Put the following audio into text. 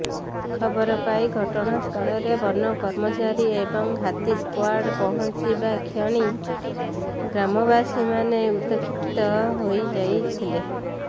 ଖବରପାଇ ଘଟଣା ସ୍ଥଳରେ ବନ କର୍ମଚାରୀ ଏବଂ ହାତୀ ସ୍କ୍ୱାର୍ଡ ପହଁଚିବା କ୍ଷଣି ଗ୍ରାମବାସୀମାନେ ଉତକ୍ଷିପ୍ତ ହୋଇ ଯାଇଥିଲେ